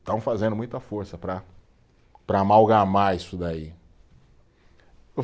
Estão fazendo muita força para, para amalgamar isso daí.